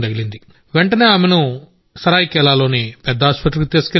వెంటనే ఆమెను సరాయికెలాలోని పెద్దాసుపత్రికి తీసుకెళ్లాం